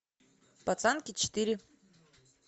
пацанки четыре